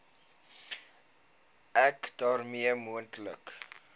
ek daarmee moontlike